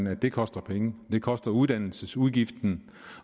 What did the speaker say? at det koster penge det koster uddannelsesudgiften